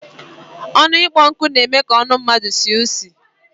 Onu ikpo nku n'eme ka onu mmadu sie isi